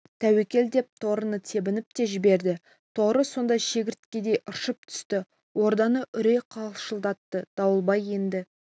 тәуекел деп торыны тебініп те жіберді торы сонда шегірткедей ыршып түсті орданы үрей қалшылдатты дауылбай енді